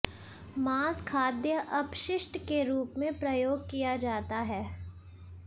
मांस खाद्य अपशिष्ट के रूप में प्रयोग किया जाता है